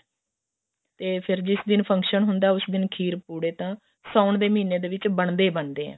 ਤੇ ਫ਼ੇਰ ਜਿਸ ਦਿਨ function ਹੁੰਦਾ ਉਸ ਦਿਨ ਖੀਰ ਪੁੜੇ ਤਾਂ ਸਾਉਣ ਦੇ ਮਹੀਨੇ ਦੇ ਵਿੱਚ ਬਣਦੇ ਬੰਦੇ ਆ